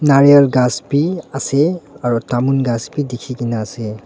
naral kas beh ase aro tamun khass beh dekhe kena ase.